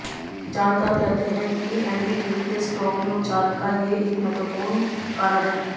जानकार कहते हैं कि एनडीटीवी के स्टॉक में उछाल का ये एक महत्वपूर्ण कारण है